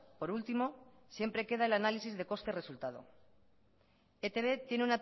por último siempre queda el análisis de coste resultado etb tiene